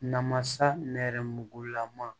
Namasa nɛrɛmugulama